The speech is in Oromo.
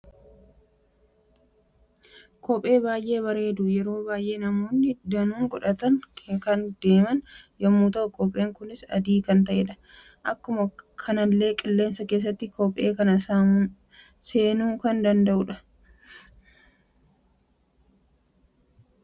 Kophee baay'ee bareedu yeroo baay'ee namoonni danuun godhatani kan deeman yemmu ta'u, kopheen kunis adii kan ta'edha. Akkuma kanallee qilleensi keessa kophee kana seenuu kan danda'udha. yeroo baay'ee kophee kana, kan godhatu hararootadha. Gatiin kophee kana meeqa jettani tilmaamtu?